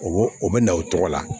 O bo o bɛ na o tɔgɔ la